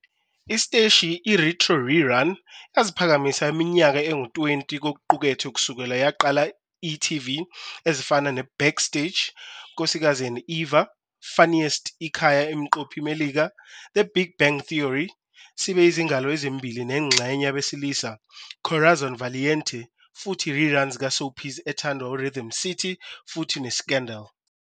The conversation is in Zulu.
Isiteshi Retro-rerun ukuthi waziphakamisa iminyaka engu-20 kokuqukethwe kusukela yaqala e.tv ezifana Backstage, Nkosikazi and Eva, Funniest Ikhaya Imiqophi Melika, The Big Bang Theory, sibe izingalo ezimbili nengxenye Abesilisa, Corazon Valiente futhi reruns ka soapies ethandwa Rhythm City futhi Scandal!